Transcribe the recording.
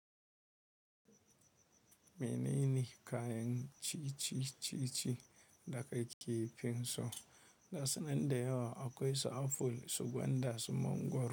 Menene kayan ci ci-ci-cici da ka ke finson? Ga sunan da yawa akwai su apple, su gwanda, su mangwaro.